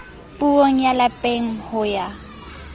puong ya lapeng ho ya